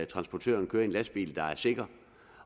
transportørerne kører i en lastbil der er sikker